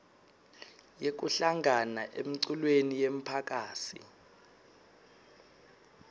yekuhlangana emculweni yemphakasi